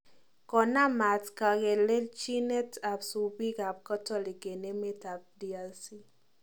Konaam maat kangelechinet ab supiik ab katolik en emet ab DRC